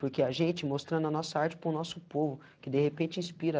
Porque a gente, mostrando a nossa arte para o nosso povo, que de repente inspira.